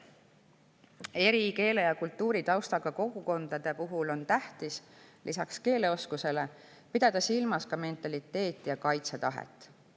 Eri keele- ja kultuuritaustaga kogukondade puhul on tähtis lisaks keeleoskusele pidada silmas mentaliteeti ja kaitsetahet.